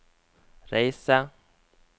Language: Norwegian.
reise